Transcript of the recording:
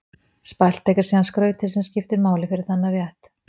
Spælt egg er síðan skrautið sem skiptir máli fyrir þennan rétt.